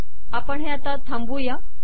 आपण हे थांबवू